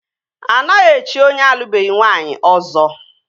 Anaghị echi onye alụbeghi nwaanyị Ọzọ